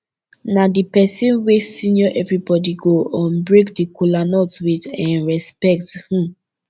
na di pesin wey senior evribodi go um break di kolanut with um respekt um